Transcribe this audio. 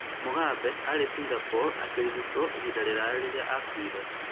Mugabe, aarĩ Singapore akĩrigwo ihinda iraya rĩrĩa akuire.